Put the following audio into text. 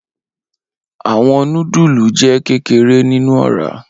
Awọn nudulu jẹ kekere ninu ọra.